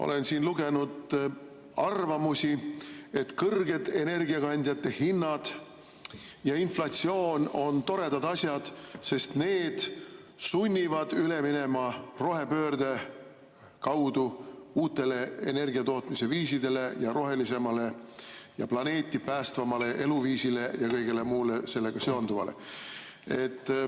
Olen siin lugenud arvamusi, et kõrged energiakandjate hinnad ja inflatsioon on toredad asjad, sest need sunnivad üle minema rohepöörde kaudu uutele energia tootmise viisidele ja rohelisemale ja planeeti päästvamale eluviisile ja kõigele muule sellega seonduvale.